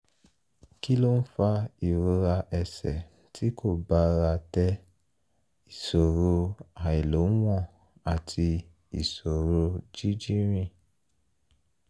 kí ló ń fa ìrora ẹsẹ̀ tí kò bára dé ìṣòro àìlóǹwọ̀n àti ìṣòro jíjí rìn?